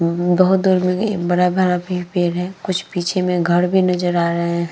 उ बहोत दूर में एक बड़ा भरा भी पेड़ है। कुछ पीछे में घर भी नजर आ रहे हैं।